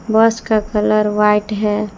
बस का colour white है।